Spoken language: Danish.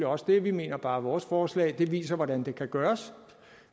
også det vi mener bare at vores forslag viser hvordan det kan gøres